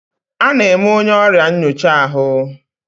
A na-eme onye ọrịa nyocha ahụ.